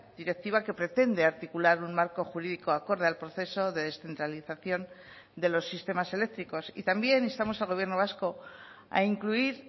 electricidad directiva que pretende articular un marco jurídico acorde al proceso de descentralización de los sistemas y también instamos al gobierno vasco a incluir